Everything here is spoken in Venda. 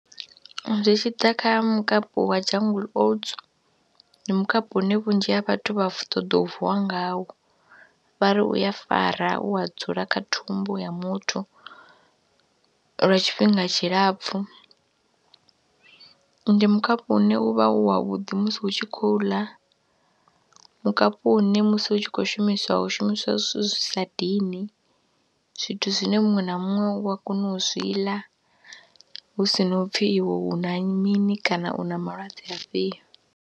Ri tshi ḓa kha mukapu wa Jungle Oats ndi mukapu une vhunzhi ha vhathu vha ṱoḓa u vuwa ngawo, vha ri u ya fara, u a dzula kha thumbu ya muthu lwa tshifhinga tshilapfhu. Ndi mukapu une u vha u wavhuḓi musi hu tshi khou u ḽa, mukapu une musi hu tshi khou shumiswa hu shumiswa zwithu zwi sa dini, zwithu zwine muṅwe na muṅwe u wa kona u zwi ḽa hu si na u pfhi iwe u na mini kana u na malwadze afhio.